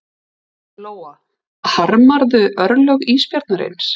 Lóa: Harmarðu örlög ísbjarnarins?